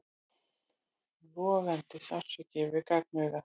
Logandi sársauki við gagnauga.